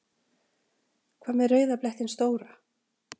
Hvað með rauða blettinn stóra?